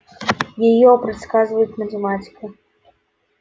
её предсказывает математика